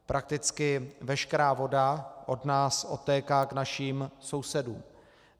Prakticky veškerá voda od nás odtéká k našim sousedům.